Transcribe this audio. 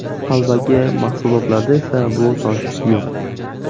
Qalbaki mahsulotlarda esa bu tosh yo‘q.